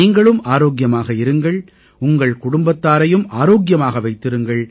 நீங்களும் ஆரோக்கியமாக இருங்கள் உங்கள் குடும்பத்தாரையும் ஆரோக்கியமாக வைத்திருங்கள்